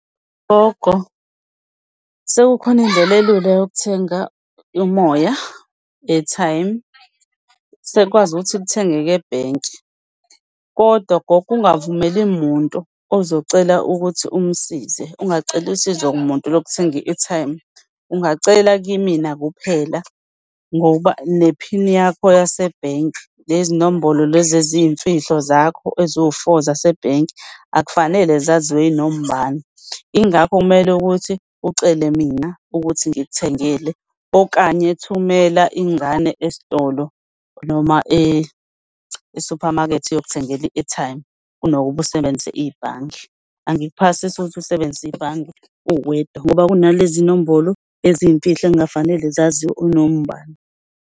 Gogo, sekukhona indlela elula yokuthenga umoya, airtime. Sekukwazi ukuthi kuthengeke ebhenki kodwa gogo ungavumeli muntu ozocela ukuthi umsize, ungaceli usizo kumuntu lokuthenga i-airtime. Ungacela kimina kuphela ngoba nephini yakho yasebhenki, lezi nombolo lezi eziyimfihlo zakho eziwu-four zasebhenki akufanele zaziwe yinoma ubani. Yingakho kumele ukuthi ucele mina ukuthi ngikuthengele, okanye thumela ingane esitolo noma e-supermarket iyokuthengela i-airtime kunokuba usebenzisa ibhange. Angikuphasisi ukuthi usebenzisa ibhange uwedwa ngoba kunalezi nombolo eziyimfihlo ekungafanele zaziwe unoma ubani.